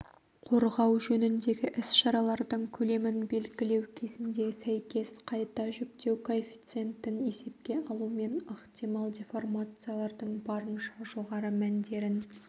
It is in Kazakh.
қорғау жөніндегі іс-шаралардың көлемін белгілеу кезінде сәйкес қайта жүктеу коэффициентін есепке алумен ықтимал деформациялардың барынша жоғары мәндерін